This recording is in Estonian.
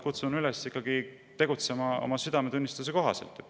Aga samas ma kutsun ikkagi üles tegutsema oma südametunnistuse kohaselt.